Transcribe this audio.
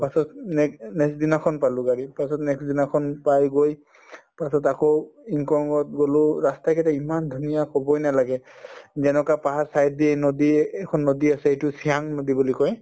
পাছত um nex‍ next দিনাখন পালো গাড়ী তাৰপিছত next দিনাখন পাই গৈ তাৰপাছত আকৌ yingkiong ত গলো ৰাস্তা কেইটা ইমান ধুনীয়া কবই নালাগে যেনেকুৱা পাহাৰ side দি নদী এখন নদী আছে এইটো চিয়াং নদী বুলি কয়